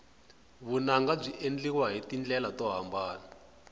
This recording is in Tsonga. vunanga byi endliwa hi tindlela to hambana